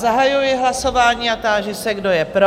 Zahajuji hlasování a táži se, kdo je pro?